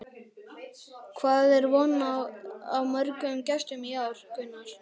Hvað er von á mörgum gestum í ár, Gunnar?